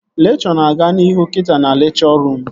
Lekchọ na-aga n'ihu kita na lekchọ ruum